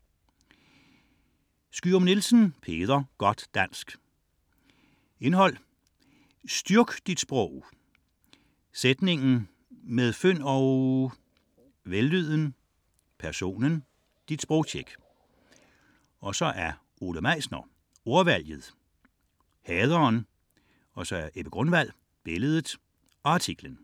89.6 Skyum-Nielsen, Peder: Godt dansk Indhold: Peder Skyum-Nielsen: Styrk dit sprog!; Sætningen; Med fynd og -?; Vellyden; Personen; Dit sprogtjek. Ole Meisner: Ordvalget; Haderen. Ebbe Grunwald: Billedet; Artiklen.